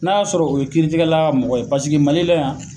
N'a y'a sɔrɔ o ye kiiritigɛla ka mɔgɔ ye paseke mali la yan